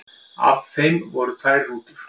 Af þeim voru tvær rútur.